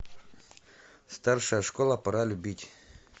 старшая школа пора любить